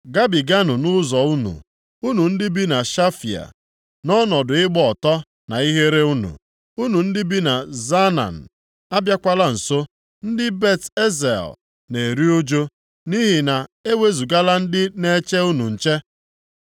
Gabiganụ nʼụzọ unu, unu ndị bi na Shafia. Nʼọnọdụ ịgba ọtọ na ihere unu, unu ndị bi na Zaanan abịakwala nso. Ndị Bet-Ezel na-eru ụjụ nʼihi na e wezugala ndị na-eche unu nche.